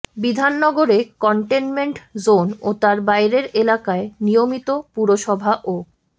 বিধাননগরে containment zone ও তার বাইরের এলাকায় নিয়মিত পুরসভা ও